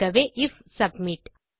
ஆகவே if submit